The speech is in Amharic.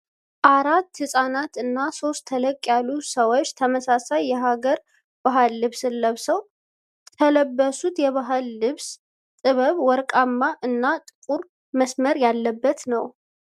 አራት ህጻናት እና ሶስት ተለቅ ያሉ ሰዎች ተመሳሳይ የሃገር ባህል ልብስን ለብሰዋል። ተለበሱት የባህል ልብስ ጥበብ ወርቃማ እና ጥቁር መስመር ያለበት ነው።